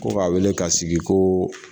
Ko ka wele ka sigi ko